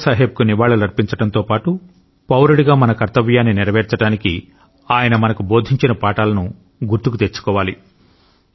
బాబా సాహెబ్కు నివాళులర్పించడంతో పాటు పౌరుడిగా మన కర్తవ్యాన్ని నెరవేర్చడానికి ఆయన మనకు బోధించిన పాఠాలను గుర్తుకు తెచ్చుకోవాలి